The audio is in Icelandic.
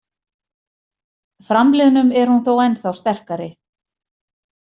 Framliðnum er hún þó ennþá sterkari.